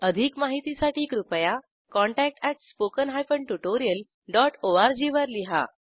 अधिक माहितीसाठी कृपया contact at spoken hyphen tutorial dot ORG वर लिहा